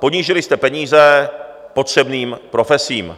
ponížili jste peníze potřebným profesím.